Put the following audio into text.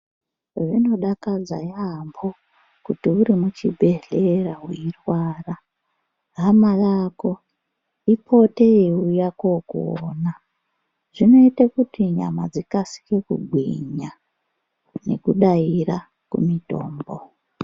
Zvinodakadza yaambo kuti uri muchibhedhlera weirwara hama yako ipote yeiuya kokuona. Zvinoite kuti nyama dzikasike kugwinya nekudaira kumitombo.